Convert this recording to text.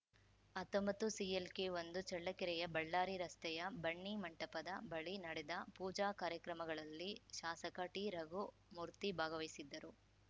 ಹತ್ತೊಂಬತ್ತುಸಿಎಲ್‌ಕೆಒಂದು ಚಳ್ಳಕೆರೆಯ ಬಳ್ಳಾರಿ ರಸ್ತೆಯ ಬನ್ನಿ ಮಂಟಪದ ಬಳಿ ನಡೆದ ಪೂಜಾ ಕಾರ್ಯಕ್ರಮಗಳಲ್ಲಿ ಶಾಸಕ ಟಿರಘುಮೂರ್ತಿ ಭಾಗವಹಿಸಿದ್ದರು